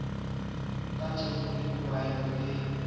ke tjhefo e kwaeng e